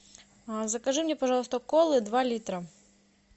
закажи мне пожалуйста колы два литра